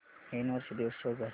नवीन वर्ष दिवस शो कर